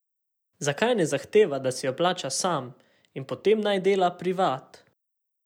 Zakaj ne zahteva, da si jo plača sam in potem naj dela privat.